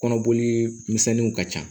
Kɔnɔboli misɛnninw ka ca